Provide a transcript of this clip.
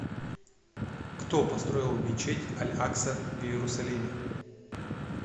кто построил мечеть аль акса в иерусалиме